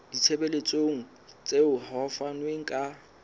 ditshebeletso tseo ho fanweng ka